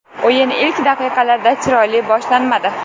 O‘yin ilk daqiqalarda chiroyli boshlanmadi.